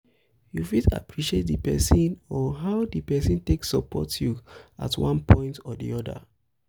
you fit appreciate di person on how di person take support you at one point or di oda